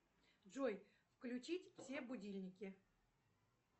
джой включить все будильники